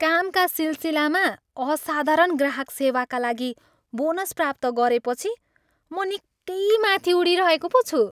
कामका सिलसिलामा असाधारण ग्राहक सेवाका लागि बोनस प्राप्त गरेपछि म निकै माथि उडिरहेको पो छु।